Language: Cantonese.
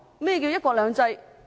何謂"一國兩制"？